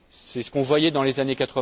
C'est ce que l'on voyait dans les années